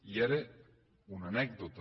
i era una anècdota